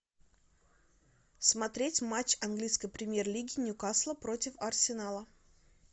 смотреть матч английской премьер лиги ньюкасла против арсенала